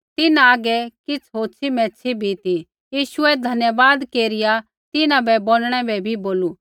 तिन्हां हागै किछ़ होछ़ी मैच्छ़ी भी ती यीशुऐ धन्यवाद केरिया तिन्हां बोंडणै बै बी बोलू